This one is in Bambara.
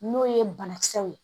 N'o ye banakisɛw ye